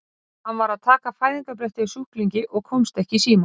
Svo að þú ert að spóka þig hér á pálmanna strönd!